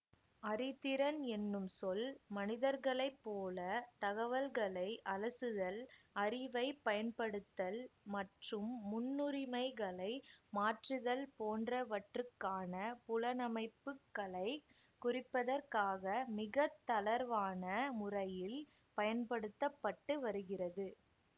அறிதிறன் என்னும் சொல் மனிதர்களைப் போல தகவல்களை அலசுதல் அறிவை பயன்படுத்தல் மற்றும் முன்னுரிமைகளை மாற்றுதல் போன்றவற்றுக்கான புலனமைப்புக்களைக் குறிப்பதற்காக மிக தளர்வான முறையில் பயன்படுத்த பட்டு வருகிறது